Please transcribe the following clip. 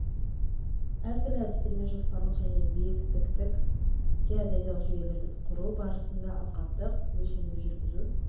әртүрлі әдістермен жоспарлық және биіктіктік геодезиялық жүйелерді құру барысында алқаптық өлшемді жүргізу